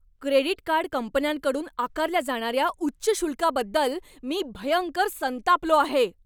Credit card कंपन्यांकडून आकारल्या जाणाऱ्या उच्च शुल्काबद्दल मी भयंकर संतापलो आहे.